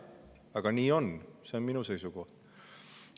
Aga nii on, see on minu seisukoht.